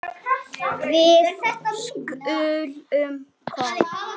Við skulum koma